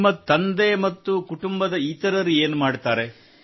ನಿಮ್ಮ ತಂದೆ ಮತ್ತು ಕುಟುಂಬದ ಇತರರು ಏನು ಮಾಡುತ್ತಾರೆ